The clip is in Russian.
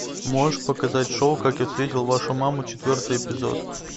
можешь показать шоу как я встретил вашу маму четвертый эпизод